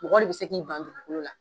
mɔgɔ de bi se k'i ban dugukolo la.